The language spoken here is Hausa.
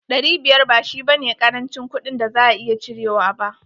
Dari biyar ba shi ba ne karancin kuɗin da za a iya cirewa ba.